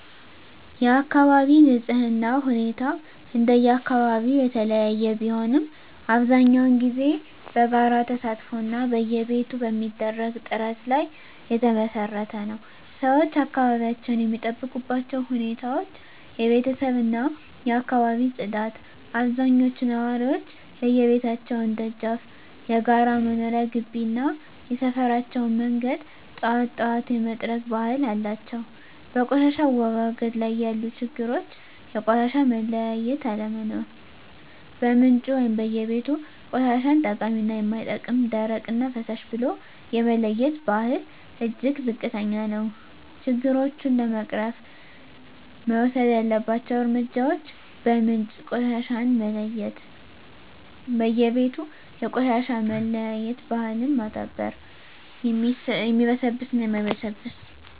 የአካባቢ ንፅህና ሁኔታ እንደየአካባቢው የተለያየ ቢሆንም፣ አብዛኛውን ጊዜ በጋራ ተሳትፎ እና በየቤቱ በሚደረግ ጥረት ላይ የተመሰረተ ነው። -ሰዎች አካባቢያቸውን የሚጠብቁባቸው ሁኔታዎች -የቤተሰብ እና የአካባቢ ፅዳት አብዛኞቹ ነዋሪዎች የየቤታቸውን ደጃፍ፣ የጋራ መኖሪያ ግቢ እና የሰፈራቸውን መንገድ ጠዋት ጠዋት የመጥረግ ባህል አላቸው። -በቆሻሻ አወጋገድ ላይ ያሉ ችግሮች -የቆሻሻ መለያየት አለመኖር በምንጩ (በየቤቱ) ቆሻሻን ጠቃሚ እና የማይጠቅም፣ ደረቅ እና ፍሳሽ ብሎ የመለየት ባህል እጅግ ዝቅተኛ ነው። -ችግሮቹን ለመቅረፍ መወሰድ ያለባቸው እርምጃዎች -በምንጭ ቆሻሻን መለየት በየቤቱ የቆሻሻ መለያየት ባህልን ማዳበር (የሚበሰብስ እና የማይበሰብስ)።